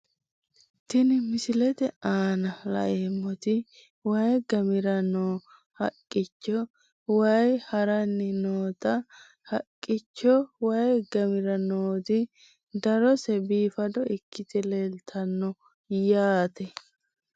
Tini misilete aana la`emoti wayi gamira noo haqichcho wayii harani nootana haqichcho wayi gamira nooti darose biifado ikite leeltano yaate.